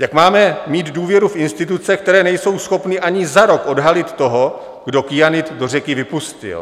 Jak máme mít důvěru v instituce, které nejsou schopny ani za rok odhalit toho, kdo kyanid do řeky vypustil?